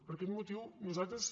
per aquest motiu nosaltres